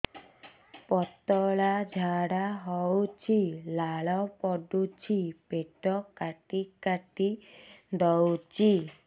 ପତଳା ଝାଡା ହଉଛି ଲାଳ ପଡୁଛି ପେଟ କାଟି କାଟି ଦଉଚି